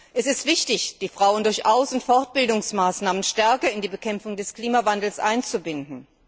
Es ist wichtig, die Frauen durch Aus und Fortbildungsmaßnahmen stärker in die Bekämpfung des Klimawandels einzubinden.